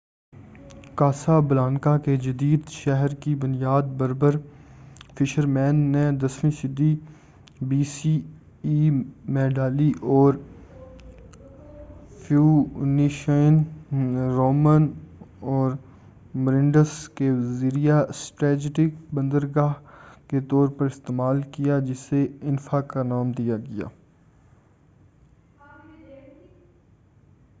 کاسا Blanca کے جدید شہر کی بنیاد بربر فشرمین نے 10ویں صدی بی سی ای میں ڈالی اور فوئنشین رومن اور مرینڈس کے ذریعہ اسٹریٹجک بندرگاہ کے طور پر استعمال کیا جسے انفا کا نام دیا گیا